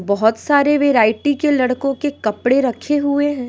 बहुत सारे वैरायटी के लड़कों के कपड़े रखे हुए हैं।